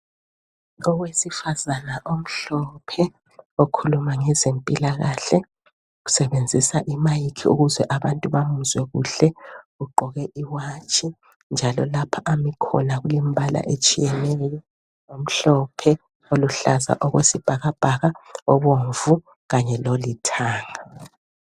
Owesifazana omhlophe okhuluma ngezempilakahle . Usebenzisa imayikhi ukuze abantu bamuzwe kuhle .Ugqoke iwatshi njalo lapha Ami khona kulembala etshiyeneyo , omhlophe oluhlaza okwesibhakabhaka, obomvu kanye lolithanga.